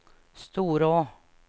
Storå